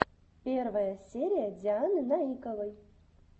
лучшая серия дианы наиковой